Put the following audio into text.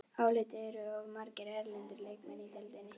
Álitið: Eru of margir erlendir leikmenn í deildinni?